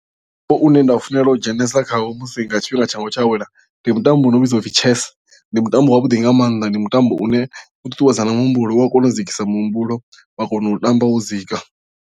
Mutambo une nda u funela u dzhenelesa khawo musi nga tshifhinga tshanga tsho awela ndi mutambo u no vhidzwa upfhi chess ndi mutambo wa vhuḓi nga maanḓa ndi mutambo une u ṱuṱuwedza na muhumbulo u a kona u dzikisa muhumbulo wa kona u tamba wo dzika.